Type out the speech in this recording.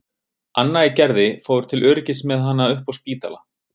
Anna í Gerði fór til öryggis með hana upp á Spítala.